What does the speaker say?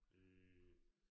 Øh